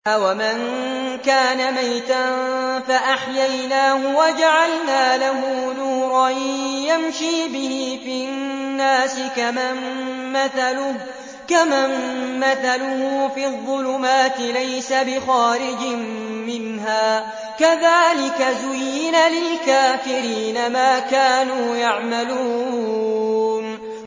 أَوَمَن كَانَ مَيْتًا فَأَحْيَيْنَاهُ وَجَعَلْنَا لَهُ نُورًا يَمْشِي بِهِ فِي النَّاسِ كَمَن مَّثَلُهُ فِي الظُّلُمَاتِ لَيْسَ بِخَارِجٍ مِّنْهَا ۚ كَذَٰلِكَ زُيِّنَ لِلْكَافِرِينَ مَا كَانُوا يَعْمَلُونَ